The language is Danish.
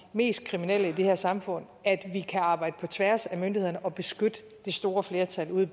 mest kriminelle i det her samfund stærk af at vi kan arbejde på tværs af myndighederne og beskytte det store flertal ude